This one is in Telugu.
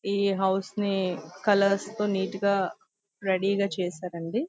ఈ హౌస్ నీ కలర్స్ తో నీట్ గా రెడీ గా చేసారు అంది.